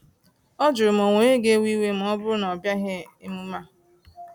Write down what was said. Ọ jụrụ ma o nwere onye iwe ga ewe ma ọ bụrụ na ọbịaghi emume a